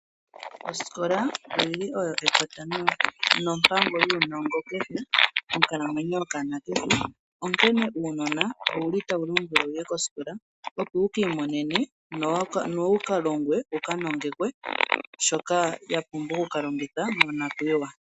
Osikola oyili oyo ekota nompango yuunongo kehe monkalamwenyo yokanona kehe. Onkene uunona ouli tawu lombwelwa wuye kosikola opo wuki imonene no wukalongwe wuka nongekwe shoka sha pumbiwa monakuyiwa.